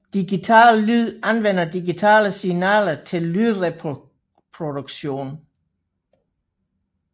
Digital lyd anvender digitale signaler til lydreproduktion